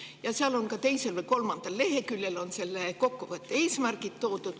Ja seal teisel või kolmandal leheküljel on selle kokkuvõtte eesmärgid välja toodud.